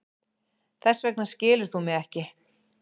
Þess vegna skilur þú mig ekki.